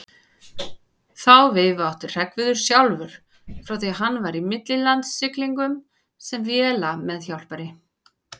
Þá veifu átti Hreggviður sjálfur frá því hann var í millilandasiglingum sem vélameðhjálpari.